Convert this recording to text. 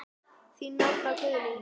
Þín, Nanna Guðný.